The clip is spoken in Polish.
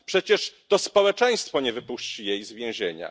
Przecież to społeczeństwo nie wypuści jej z więzienia.